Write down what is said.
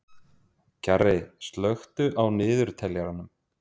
Kjarri, slökktu á niðurteljaranum.